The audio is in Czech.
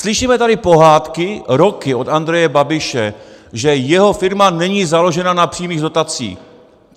Slyšíme tady pohádky roky od Andreje Babiše, že jeho firma není založena na přímých dotacích.